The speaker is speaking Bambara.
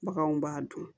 Baganw b'a dun